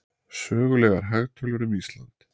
Sögulegar hagtölur um Ísland.